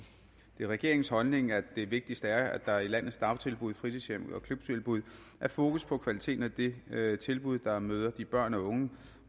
det er regeringens holdning at det vigtigste er at der i landets dagtilbud fritidshjem og klubtilbud er fokus på kvaliteten af det tilbud der møder de børn og unge